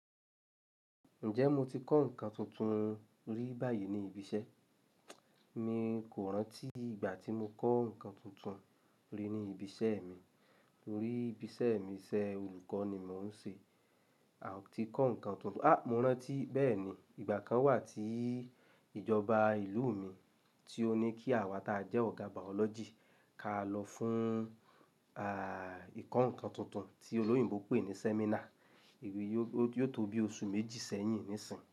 Ǹjẹ́ mo ti kọ́ nǹkan tuntun rí báyìí ní ibi iṣẹ́? Mi kò rántí ìgbà tí mo kọ́ nǹkan tuntun rí ní ibi iṣẹ́ mi. Lórí ibi iṣẹ́ mi, iṣẹ́ olùkọ́ ni mò ń ṣe. A ò ti kọ́ nǹkan tuntun. A! Mo rántí bẹ́ẹ̀ni. Ìgbà kan wà tí ìjọba ìlú mi tí ó ní kí àwa tí a jẹ́ ọ̀gá bàọ́lọ́jì kà lọ fún, à, ìkọ́ nǹkan tuntun tí olóyìnbo pè ní seminar. Èrò yìí yóò tó bí oṣù méjì sẹ́yìn níìsín.